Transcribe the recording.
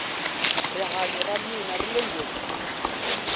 rihanyo ra mina rile nghozini